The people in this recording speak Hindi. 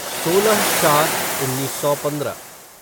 सोलह चार उन्नीस सौ पंद्रह